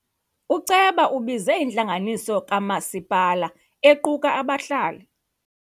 Uceba ubize intlanganiso kamasipala equka abahlali.